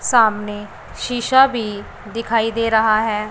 सामने शीशा भी दिखाई दे रहा है।